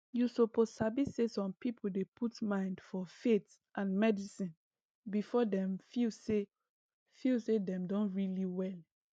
you suppose sabi say some people dey put mind for faith and medicine before dem feel say feel say dem don really well